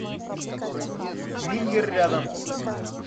мингер рядом